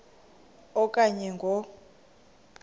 a okanye ngo